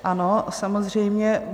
Ano, samozřejmě.